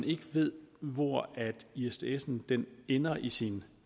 ikke ved hvor isdsen ender i sin